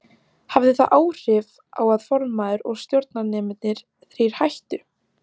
Hafði það áhrif á að formaður og stjórnarmennirnir þrír hættu?